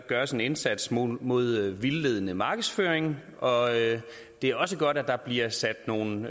gøres en indsats mod mod vildledende markedsføring og det er også godt at der bliver sat nogle